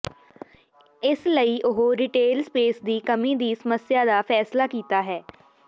ਇਸ ਲਈ ਉਹ ਰਿਟੇਲ ਸਪੇਸ ਦੀ ਕਮੀ ਦੀ ਸਮੱਸਿਆ ਦਾ ਫੈਸਲਾ ਕੀਤਾ ਹੈ